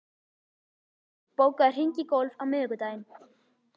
Sigmundur, bókaðu hring í golf á miðvikudaginn.